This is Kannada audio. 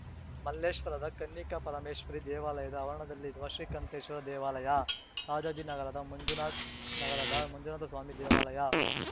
ಮಲ್ಲೇಶ್ವರದ ಕನ್ನಿಕಾಪರಮೇಶ್ವರಿ ದೇವಾಲಯದ ಆವರಣದಲ್ಲಿರುವ ಶ್ರೀಕಂಠೇಶ್ವರ ದೇವಾಲಯ ರಾಜಾಜಿನಗರದ ಮಂಜುನಾಥ್ ನಗರದ ಮಂಜುನಾಥಸ್ವಾಮಿ ದೇವಾಲಯ